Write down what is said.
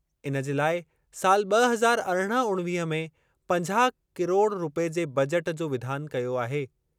इन जे लाइ साल ब॒ हज़ार अरिड़हं-उणिवीह में पंजाह किरोड़ रूपए जे बजट जो विधान कयो आहे।